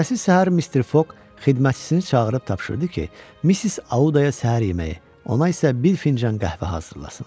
Ertəsi səhər Mister Fog xidmətçisini çağırıb tapşırdı ki, Missis Auddaya səhər yeməyi, ona isə bir fincan qəhvə hazırlasın.